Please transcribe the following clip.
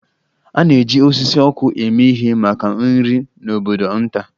A na-eji osisi ọkụ eme ihe maka nri n'obodo nta.